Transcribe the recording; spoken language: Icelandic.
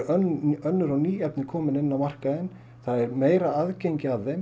önnur og ný efni komin inn á markaðinn það er meira aðgengi að þeim